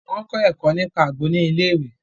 Wọn kọ ẹkọ nípa àgbo ni ilé-ìwé